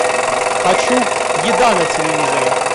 хочу еда на телевизоре